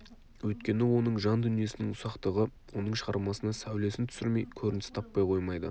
өйткені оның жан дүниесінің ұсақтығы оның шығармасына сәулесін түсірмей көрініс таппай қоймайды